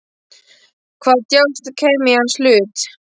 Hvaða djásn kæmi í hans hlut?